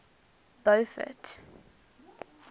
beaufort